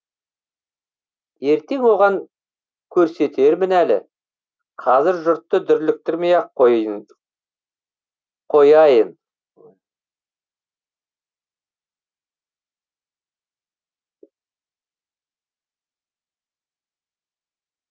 ертең оған көрсетермін әлі қазір жұртты дүрліктірмей ақ қояйын